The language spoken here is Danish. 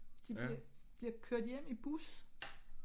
De bliver bliver kørt hjem i bus